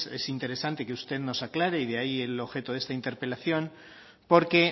es interesante que usted nos aclare y de ahí el objeto de esta interpelación porque